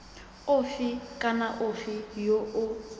ofe kana ofe yo o